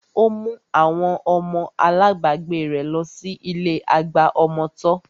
Ó mú àwọn ọmọ alábagbé rẹ̀ lọ sí ilé àgbà ọmọ tọ́